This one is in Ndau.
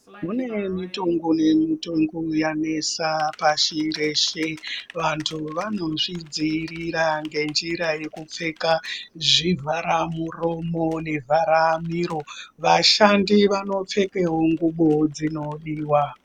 Kune mitongo nemitongo yanesa pashi reshe, vantu vanozvidziirira ngenjira yekupfeka zvivhara muromo nevhara miro. Vashandi vanopfekewo ngubo dzinodiwa.